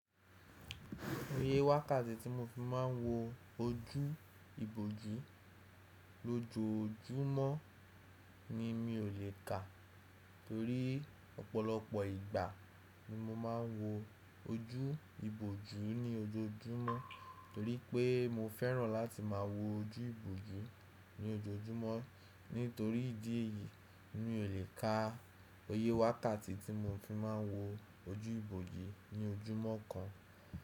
Oyẹ́ wákàtí tí mo fi máà ń wo ojú ìbòjú lójoójúmọ́ ni mi ò lè kà torí ọ̀pọ̀lọpọ̀ ìgbà ni mo máà ń wo ojú ìbòjú ní ojoójúmọ́ torí pé mo fẹ́ràn láti máà wo ojú ìbòjú ní ojoójúmọ́. Nítorí ìdí èyí, mi ò lè ka oyẹ́ wákàtí tí mo fi máà ń wo ojú ìbòjú ní ojúmọ́ kan.